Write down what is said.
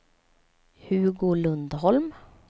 Hugo Lundholm